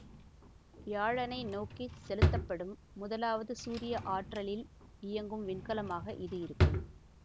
வியாழனை நோக்கி செலுத்தப்படும் முதலாவது சூரிய ஆற்றலில் இயங்கும் விண்கலமாக இது இருக்கும்